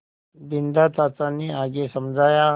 बिन्दा चाचा ने आगे समझाया